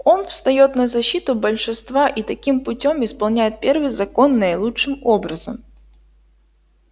он встаёт на защиту большинства и таким путём исполняет первый закон наилучшим образом